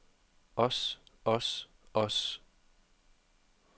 os os os